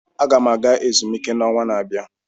Aga m aga ezumike n'ọnwa na-abịa.